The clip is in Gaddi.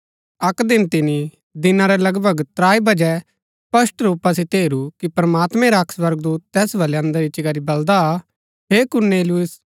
अक्क दिन तिनी दिना रै लगभग त्राई बजै स्पष्ट रूपा सितै हेरू कि प्रमात्मैं रा अक्क स्वर्गदूत तैस बलै अंदर इच्ची करी बलदा हे कुरनेलियुस